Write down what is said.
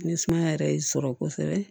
Ni sumaya yɛrɛ y'i sɔrɔ kosɛbɛ